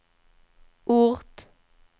ort